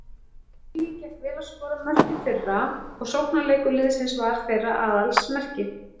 Huginn gekk vel að skora mörk í fyrra og sóknarleikur liðsins var þeirra aðalsmerki.